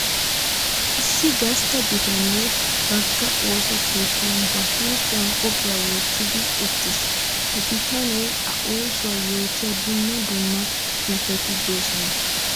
Issi gastta bitane baaga ooso keettan ba huuphiyan koppiya wottiddi uttiis. Ha bitaniya a oosuwa yootiya dumma dumma xuufetti de'osonna.